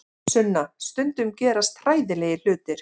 Sunna, stundum gerast hræðilegir hlutir.